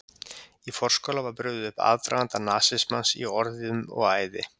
Í forskála var brugðið upp aðdraganda nasismans í orðum og æði.